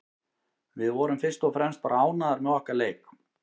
Við vorum fyrst og fremst bara ánægðar með okkar leik.